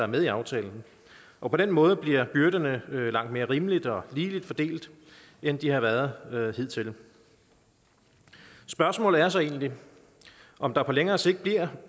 med i aftalen og på den måde bliver byrderne langt mere rimeligt og ligeligt fordelt end de har været hidtil spørgsmålet er så egentlig om der på længere sigt bliver